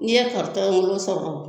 N'i ye ŋolo sɔrɔ